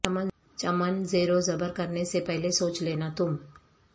چمن زیر و زبر کرنے سے پہلے سوچ لینا تم